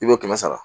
I b'o kɛmɛ sara